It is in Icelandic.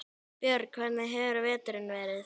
Björn: Hvernig hefur veturinn verið?